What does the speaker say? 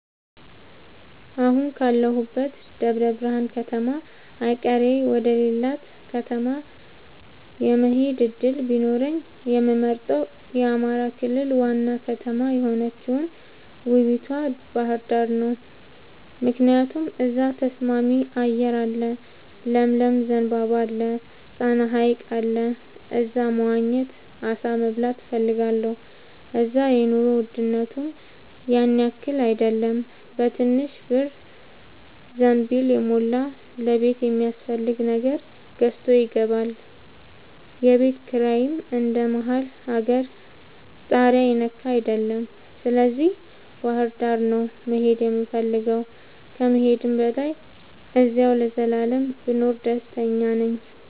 አሁን ካለሁበት ደብረብርሃን ከተማ ቀይሬ ወደሌላ ከተማ የመሆድ እድል ቢኖረኝ የምመርጠው የአማራ ክልል ዋና ከተማ የሆነችውን ውቡቷ ባህርዳርን ነው። ምክንያቱም እዛ ተስማሚ አየር አለ ለምለም ዘንባባ አለ። ጣና ሀይቅ አለ እዛ መዋኘት አሳ መብላት እፈልጋለሁ። እዛ የኑሮ ውድነቱም ያንያክል አይደለም በትንሽ ብር ዘንቢልን የሞላ ለቤት የሚያስፈልግ ነገር ገዝቶ ይገባል። የቤት ኪራይም እንደ መሀል አገር ታሪያ የነካ አይደለም ስለዚህ ባህርዳር ነው መሄድ የምፈልገው ከመሄድም በላይ አዚያው ለዘላለም ብኖር ደስተኛ ነኝ።